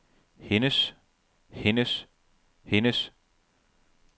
hendes hendes hendes